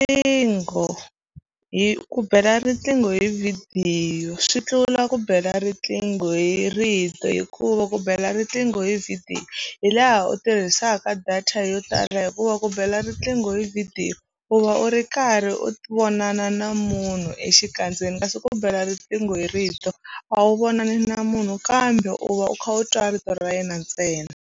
Riqingho hi ku bela riqingho hi vhidiyo swi tlula ku bela riqingho hi rito hikuva ku bela riqingho hi vhidiyo hi laha u tirhisaka data yo tala hi hikuva ku bela riqingho hi vhidiyo u va u ri karhi u vonana na munhu exikandzeni kasi ku bela riqingho hi rito a wu vonani na munhu kambe u va u kha u twa rito ra yena ntsena.